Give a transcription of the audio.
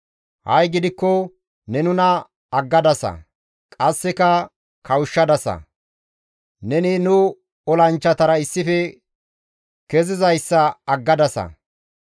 Ha7i gidikko ne nuna aggadasa; qasseka kawushshadasa; neni nu olanchchatara issife kezizayssa aggadasa.